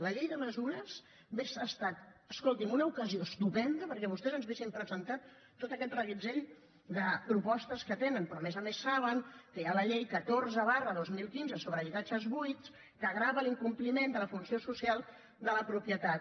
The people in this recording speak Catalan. la llei de mesures hagués estat escolti’m una ocasió estupenda perquè vostès ens haguessin presentat tot aquest reguitzell de propostes que tenen però a més a més saben que hi ha la llei catorze dos mil quinze sobre habitatges buits que grava l’incompliment de la funció social de la propietat